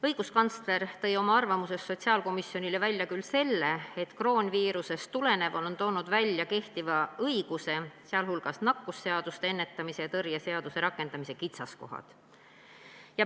Õiguskantsler tõi oma arvamuses sotsiaalkomisjonile välja küll selle, et kroonviirusest tulenev on toonud välja kehtiva õiguse, sh nakkushaiguste ennetamise ja tõrje seaduse rakendamise kitsaskohad.